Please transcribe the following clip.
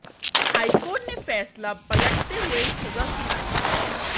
high court ने फैसला पलटते हुए सजा सुनाई है